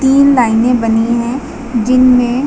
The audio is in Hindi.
तीन लाइनें बनी हैं जिनमें--